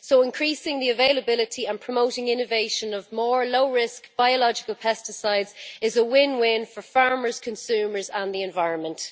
So increasing the availability and promoting the innovation of more low risk biological pesticides is a win win for farmers, consumers and the environment.